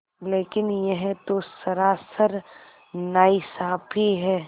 लेकिन यह तो सरासर नाइंसाफ़ी है